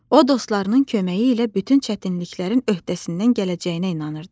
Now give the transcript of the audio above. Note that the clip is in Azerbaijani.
O dostlarının köməyi ilə bütün çətinliklərin öhdəsindən gələcəyinə inanırdı.